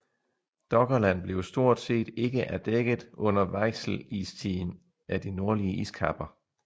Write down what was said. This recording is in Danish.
Doggerland blev stort set ikke er dækket under Weichselistiden af de nordlige iskapper